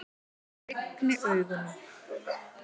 Ég lygni augunum.